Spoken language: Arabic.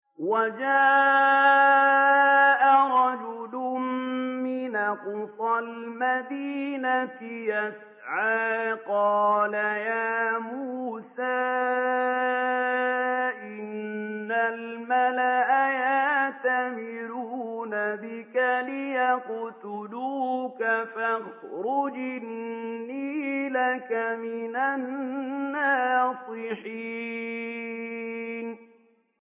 وَجَاءَ رَجُلٌ مِّنْ أَقْصَى الْمَدِينَةِ يَسْعَىٰ قَالَ يَا مُوسَىٰ إِنَّ الْمَلَأَ يَأْتَمِرُونَ بِكَ لِيَقْتُلُوكَ فَاخْرُجْ إِنِّي لَكَ مِنَ النَّاصِحِينَ